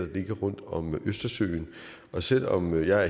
ligger rundt om østersøen og selv om jeg er